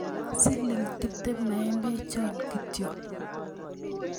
siling tuptem maembchot kityo